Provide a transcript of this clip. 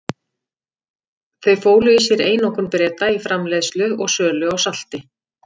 Þau fólu í sér einokun Breta í framleiðslu og sölu á salti.